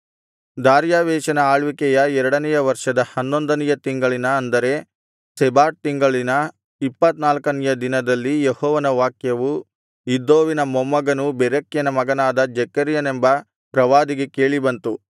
ದಾರ್ಯಾವೆಷನ ಆಳ್ವಿಕೆಯ ಎರಡನೆಯ ವರ್ಷದ ಹನ್ನೊಂದನೆಯ ತಿಂಗಳಿನ ಅಂದರೆ ಶೆಬಾಟ್ ತಿಂಗಳಿನ ಇಪ್ಪತ್ತನಾಲ್ಕನೆಯ ದಿನದಲ್ಲಿ ಯೆಹೋವನ ವಾಕ್ಯವು ಇದ್ದೋವಿನ ಮೊಮ್ಮಗನೂ ಬೆರೆಕ್ಯನ ಮಗನಾದ ಜೆಕರ್ಯನೆಂಬ ಪ್ರವಾದಿಗೆ ಕೇಳಿಬಂತು